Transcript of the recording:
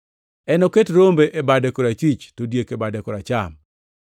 Enoket rombe e bade korachwich, to diek e bade koracham.